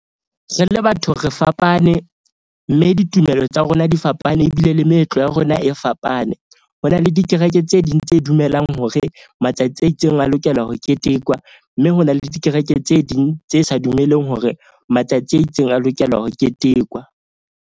Re le batho re fapane, mme ditumelo tsa rona di fapane ebile le meetlo ya rona e fapane. Ho na le dikereke tse ding tse dumelang hore matsatsi a itseng a lokela ho ketekwa. Mme hona le dikereke tse ding tse sa dumelleng hore matsatsi a itseng a lokela ho ketekwa.